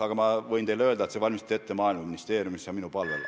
Aga ma võin öelda, et see valmistati ette Maaeluministeeriumis ja minu palvel.